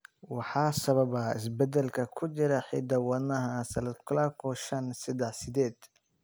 Waxaa sababa isbeddellada ku jira hidda-wadaha SLClawo shaan seddax sideed.